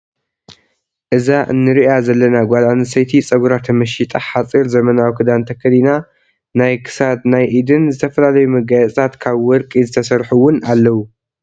እዛ እነሪኣ ዘለና ጓል ኣነስተይቲ ፀጉራ ተመሺጣ ሓፂር ዘመናዊ ክዳን ተከዲና ናይ ክሳድናይ ኢድን ዝተፈላለዩ መጋፂታት ካብ ወርቂ ዝተሰርሑ እውን ኣለው።